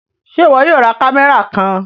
Ṣe iwọ yóò rá kámẹ́rà kàn?